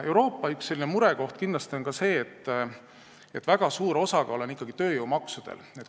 Euroopa üks murekohti on ka see, et väga suur osakaal on ikkagi tööjõumaksudel.